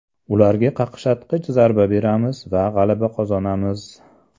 Ularga qaqshatqich zarba beramiz va g‘alaba qozonamiz”.